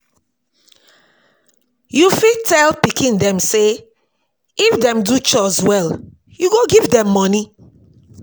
You fit tell pikin dem sey if dem do chores well you go give dem money